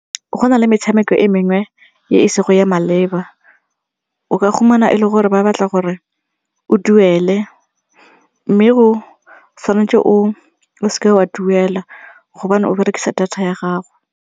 Go na le metshameko e mengwe e se go ya maleba, o ka fumana e le gore ba batla gore o duele mme o tshwanetse o seke wa duela gobane o berekisa data ya gago.